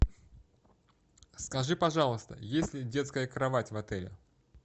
скажи пожалуйста есть ли детская кровать в отеле